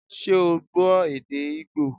Ṣé o gbọ́ èdè Ígbò